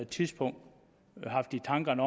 tidspunkt haft i tankerne